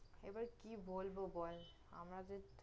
এবার কি বলব বল, আমাদের